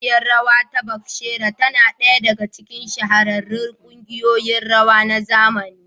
ƙungiyar rawa ta Batsheva tana ɗaya daga cikin shahararrun kungiyoyin rawa na zamani.